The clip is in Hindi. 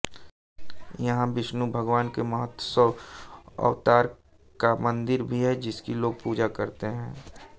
यहाँ विष्णु भगवान के मत्स्य अवतार का मन्दिर भी है जिसकी लोग पूजा करते हैं